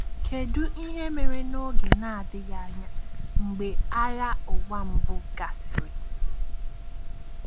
Kedu ihe mere n’oge na-adịghị anya mgbe Agha Ụwa Mbụ gasịrị?